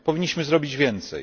Powinniśmy zrobić więcej!